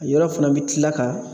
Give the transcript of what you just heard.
A yɔrɔ fana bɛ tila ka